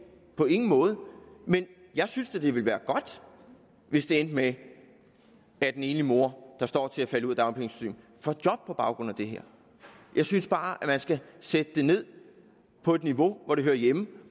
på ingen måde men jeg synes da at det ville være godt hvis det endte med at en enlig mor der står til at falde ud af dagpengesystemet får job på baggrund af det her jeg synes bare at man skal sætte det ned på et niveau hvor det hører hjemme